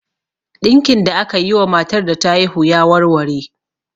Ɗinkin da akayi wa matar da ta haihu ya warware.